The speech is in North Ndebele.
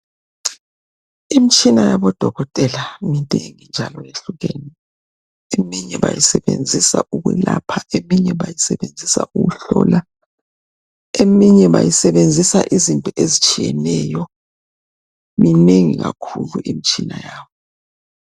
Imtshina yabodokotela minengi njalo ihlukene , eminye bayisebenzisa ukwelaoha eminye bayisebenzisa ukuhlola , eminye bayisebenzisa izinto ezitshiyeneyo minengi kakhulu imtshina yabo